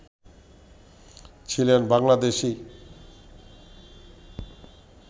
ছিলেন বাংলাদেশী